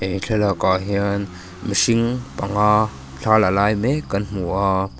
he thlalakah hian mihring panga thla la lai mek kan hmu a--